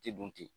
Tɛ dun ten